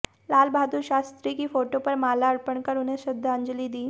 लाल बहादुर शास्त्री की फोटो पर माला अर्पण कर उन्हें श्रद्धांजलि दी